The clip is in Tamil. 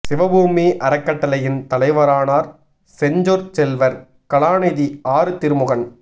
சிவபூமி அறக் கட்டளையின் தலைவரானார் செஞ்சொற் செல்வர் கலாநிதி ஆறு திருமுருகன்